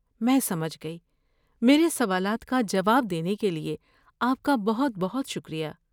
میں سمجھ گئی، میرے سوالات کا جواب دینے کے لیے آپ کا بہت بہت شکریہ۔